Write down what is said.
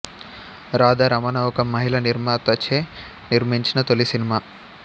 రాధా రమణ ఒక మహిళా నిర్మాతచే నిర్మించిన తొలి సినిమా